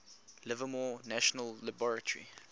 livermore national laboratory